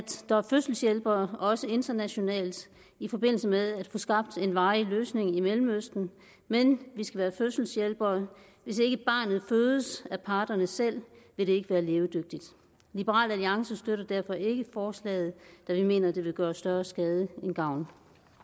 der er fødselshjælpere også internationalt i forbindelse med at få skabt en varig løsning i mellemøsten men vi skal være fødselshjælperen hvis ikke barnet fødes af parterne selv vil det ikke være levedygtigt liberal alliance støtter derfor ikke forslaget da vi mener at det vil gøre større skade end gavn